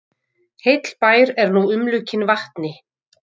Heill bær er nú umlukinn vatni